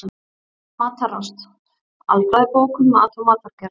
Matarást: Alfræðibók um mat og matargerð.